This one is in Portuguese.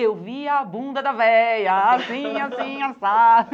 Eu vi a bunda da véia, assim, assim, assado.